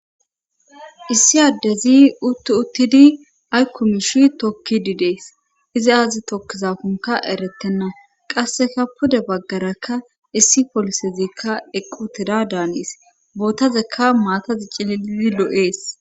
issi addezi uttu uttidi aykkumishi tokkididees izi aazi tokkizafunka eretenna qasseka pude baggarakka issi polisezikka eqqu tida daanis bootazeka maatazi cililidi lo7ees